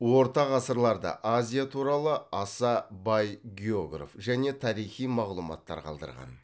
орта ғасырларда азия туралы аса бай географ және тарихи мағлұматтар қалдырған